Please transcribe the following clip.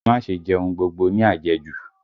Ẹ má ṣe jẹ ohun gbogbo ní àjẹjù!